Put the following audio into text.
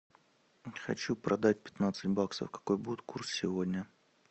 хочу продать пятнадцать баксов какой будет курс сегодня